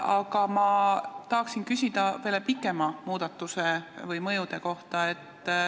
Aga ma tahan küsida pikemate mõjude kohta.